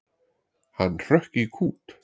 Hann hrökk í kút.